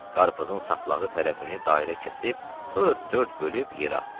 Qarpızın saplağı tərəfini dairə kəsib, sonra dörd bölüb yerə atdı.